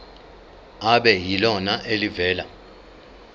kube yilona elivela